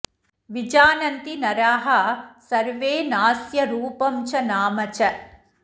विजानन्ति नराः सर्वे नास्य रूपं च नाम च